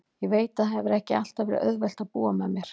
Ég veit að það hefur ekki alltaf verið auðvelt að búa með mér.